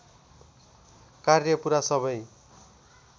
कार्य पुरा सबै